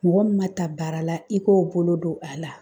Mɔgɔ min ma ta baara la , i k'o bolo don a la.